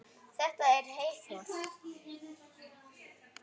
Þetta er einum of,